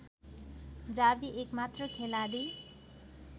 Xavi एकमात्र खेलाडी